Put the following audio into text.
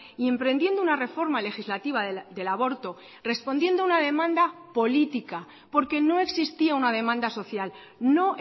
y emprendiendo una reforma legislativa del aborto respondiendo a una demanda política porque no existía una demanda social no